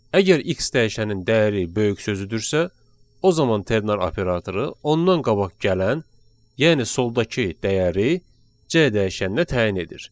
Əgər x dəyişənin dəyəri böyük sözüdürsə, o zaman ternar operatoru ondan qabaq gələn, yəni soldakı dəyəri C dəyişəninə təyin edir.